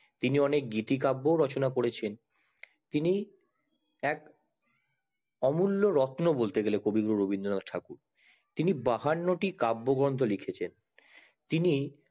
তিনি অনেক গীতি কাব্য ও রচনা ও করেছেন তিনি এক অমূল্য রত্ন বলতে গেলে রবীন্দ্রনাথ ঠাকুর তিনি বাহান্নটা কাব্য গ্রন্থ লিখেছেন তিনি